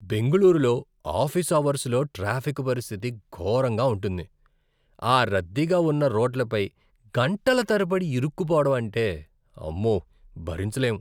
బెంగుళూరులో ఆఫీస్ అవర్సులో ట్రాఫిక్ పరిస్థితి ఘోరంగా ఉంటుంది. ఆ రద్దీగా ఉన్న రోడ్లపై గంటల తరబడి ఇరుక్కుపోవడం అంటే, ఆమ్మో! భరించలేం.